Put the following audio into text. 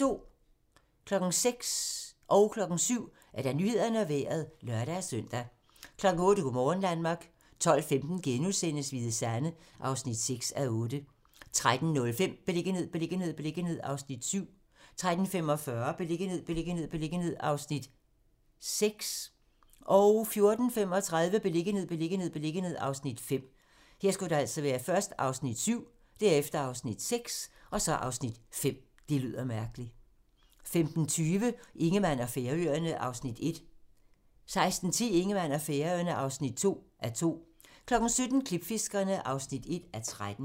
06:00: Nyhederne og Vejret (lør-søn) 07:00: Nyhederne og Vejret (lør-søn) 08:00: Go' morgen Danmark 12:15: Hvide Sande (6:8)* 13:05: Beliggenhed, beliggenhed, beliggenhed (Afs. 7) 13:45: Beliggenhed, beliggenhed, beliggenhed (Afs. 6) 14:35: Beliggenhed, beliggenhed, beliggenhed (Afs. 5) 15:20: Ingemann og Færøerne (1:2) 16:10: Ingemann og Færøerne (2:2) 17:00: Klipfiskerne (1:13)